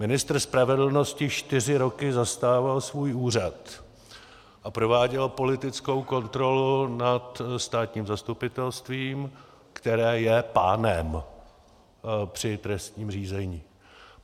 Ministr spravedlnosti čtyři roky zastával svůj úřad a prováděl politickou kontrolu nad státním zastupitelstvím, které je pánem při trestním řízení.